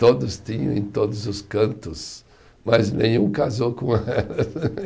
Todos tinham em todos os cantos, mas nenhum casou com elas.